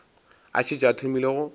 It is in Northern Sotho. a šetše a thomile go